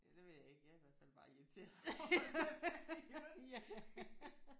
Ja det ved jeg ikke jeg er i hvert fald bare irriteret over den her i ørerne